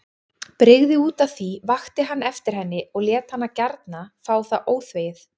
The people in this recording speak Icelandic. Brygði útaf því, vakti hann eftir henni og lét hana gjarna fá það óþvegið.